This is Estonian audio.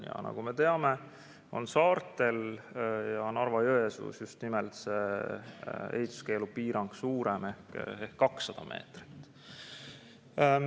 Ja nagu me teame, on saartel ja Narva-Jõesuus just nimelt ehituskeelu piirang suurem ehk 200 meetrit.